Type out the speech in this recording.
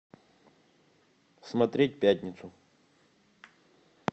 смотреть пятницу